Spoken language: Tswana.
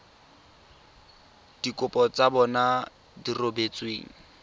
dikopo tsa bona di rebotsweng